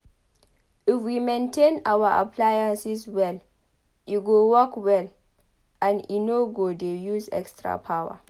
if we maintain our appliances well e go work well and e no go dey use extra power